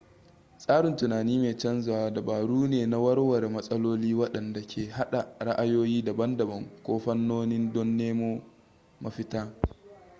tsarin tunani mai canzawa dabaru ne na warware matsaloli waɗanda ke haɗa ra'ayoyi daban-daban ko fannoni don nemo mafita